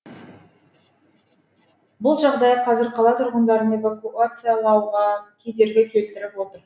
бұл жағдай қазір қала тұрғындарын эвакуациялауға кедергі келтіріп отыр